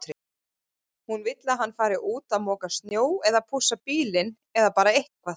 Hún vill að hann fari út að moka snjó eða pússa bílinn eða bara eitthvað.